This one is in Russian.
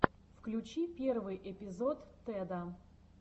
включи первый эпизод теда